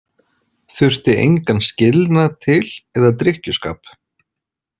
Þurfi engan skilnað til eða drykkjuskap.